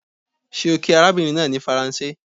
Ṣé ó kí arabinrin naa ní Faranse?